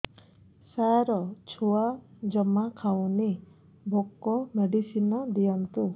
ସାର ଛୁଆ ଜମା ଖାଉନି ଭୋକ ମେଡିସିନ ଦିଅନ୍ତୁ